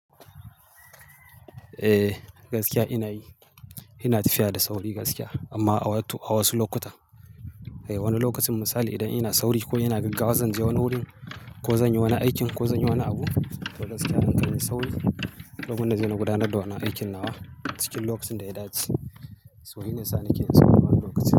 Eh, gaskiya ina yi. Ina tafiya da sauri gaskiya amma awatu- a wasu lokutan. Wani lokacin misali idan ina sauri ko ina gaggawa zan je wani wurin ko zan yi wani aikin ko zan yi wani abu, to gaskiya an kai ni sauri domin na je na gudanar da wannan aikin na wa cikin lokacin da ya dace. So shine yasa na ke yin sauri a wani lokaci.